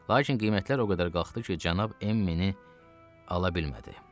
Lakin qiymətlər o qədər qalxdı ki, cənab Emmini ala bilmədi.